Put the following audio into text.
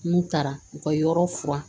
N'u taara u ka yɔrɔ furan